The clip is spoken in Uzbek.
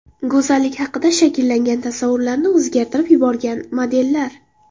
Go‘zallik haqida shakllangan tasavvurlarni o‘zgartirib yuborgan modellar .